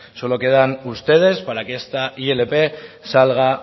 solo quedan ustedes para que esta ilp salga